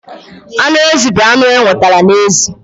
Anụ ezi bụ anụ enwetara na ezi.